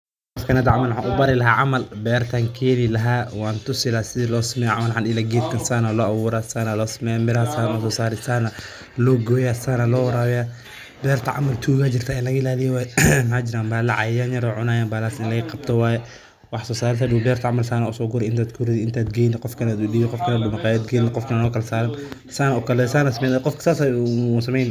Berti keenii lahaa waan tusi lahaa geedka sidaan loo abuuraa, sida loo waraabiyaa, looguna yaal berta. Tuga jirta in laga ilaaliyo waa muhiim, bahallo iyo cayayaanna way jiraan, in laga qabto waa muhiim. Wax-soo-saarka sida loo soo guro, qof loo dhiibo, qofka makhaayadda geeynaya.